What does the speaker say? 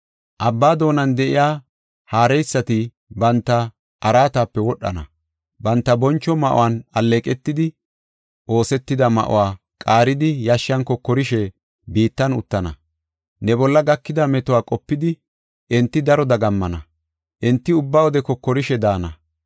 Abbaa doonan de7iya haareysati banta araatape wodhana. Banta boncho ma7uwanne alleeqetidi oosetida ma7uwa qaaridi yashshan kokorishe biittan uttana. Ne bolla gakida metuwa qopidi, enti daro dagammana; enti ubba wode kokorishe daana.’